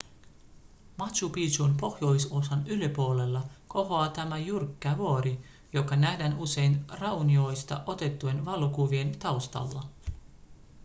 machu picchun pohjoisosan yläpuolella kohoaa tämä jyrkkä vuori joka nähdään usein raunioista otettujen valokuvien taustalla